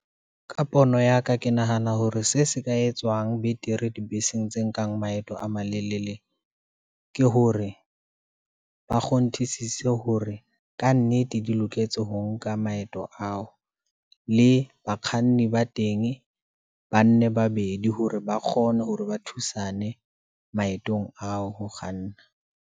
Ka pono ya ka, ke nahana hore se se ka etsuwang betere dibeseng tse nkang maeto a malelele, ke hore, ba kgonthisisisa hore kannete di loketse ho nka maeto ao, le bakganni ba tenge, ba nne babedi hore ba kgone hore ba thusane, maetong ao ho kganna.